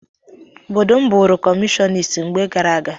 Obodo m bụụrụ kọmunist mgbe gara aga.